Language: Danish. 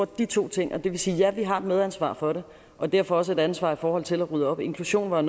de to ting og det vil sige at ja vi har et medansvar for det og derfor også et ansvar i forhold til at rydde op inklusion var